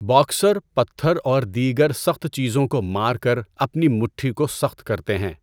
Boxer پتھر اور دیگر سخت چیزوں کو مار کر اپنی مٹھی کو سخت کرتے ہیں۔